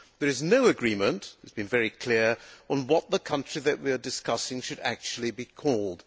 There is no agreement it has been very clear on what the country that we are discussing should actually be called.